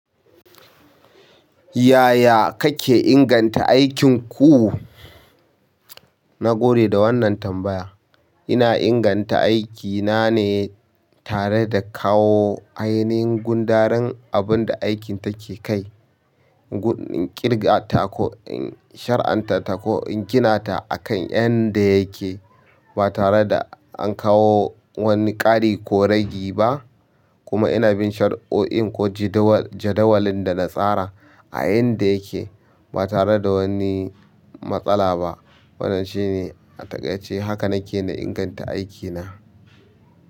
Yaya kake inganta aikinku? Na gode da wannan tambaya. Ina inganta aikina ne tare da kawo ainihin gundarin abinda aikin take kai gun in ƙirga ta ko in shari'anta ta ko in gina ta akan yanda yake, ba tare da an kawo wani ƙari ko ragi ba. Kuma ina bin shar'oin ko jadawalin da na tsara a yanda yake, ba tare da wani matsala ba. Wannan shine a takaice haka nake na inganta aikina.